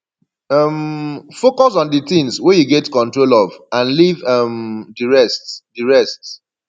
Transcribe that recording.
um focus on di things wey you get control of and leave um di rest di rest